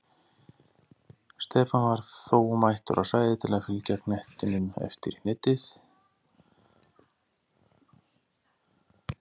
Stefán var þó mættur á svæðið til að fylgja knettinum eftir í netið!